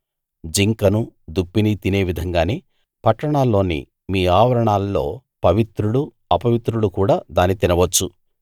జింకను దుప్పిని తినే విధంగానే పట్టణాల్లోని మీ ఆవరణల్లో పవిత్రులు అపవిత్రులు కూడా దాన్ని తినవచ్చు